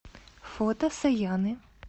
фото саяны